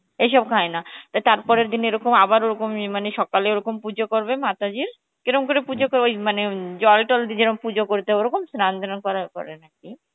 এইসব খায় না, তার পরেরদিন এরকম আবার ওরকম মানে সকালে ওরকম পুজো করবে Hindi, কেরম করে পুজো করবে ওই মানে, জল টল দিয়ে যেরকম পুজো করি তা ওরকম স্নান যেমন করে